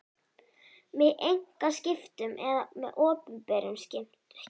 með einkaskiptum eða með opinberum skiptum.